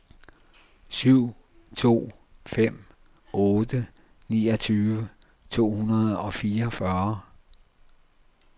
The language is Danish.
syv to fem otte niogtyve to hundrede og fireogfyrre